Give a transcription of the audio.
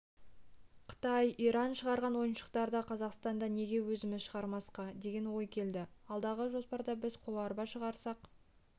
қытай иран шығарған ойыншықтарды қазақстанда неге өзіміз шығармасқа деген ой келді алдағы жоспарда біз қоларба шығарсақ